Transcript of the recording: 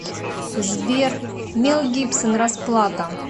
сбер мел гибсон расплата